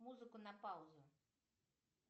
музыку на паузу